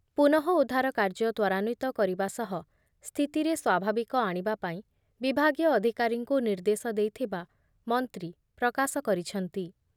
ପୁନଃ ଉଦ୍ଧାର କାର୍ଯ୍ୟ ତ୍ବରାନ୍ବିତ କରିବା ସହ ସ୍ଥିତିରେ ସ୍ଵାଭାବିକ ଆଣିବା ପାଇଁ ବିଭାଗୀୟ ଅଧିକାରୀଙ୍କୁ ନିର୍ଦ୍ଦେଶ ଦେଇଥିବା ମନ୍ତ୍ରୀ ପ୍ରକାଶ କରିଛନ୍ତି ।